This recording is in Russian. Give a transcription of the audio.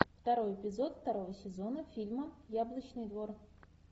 второй эпизод второго сезона фильма яблочный двор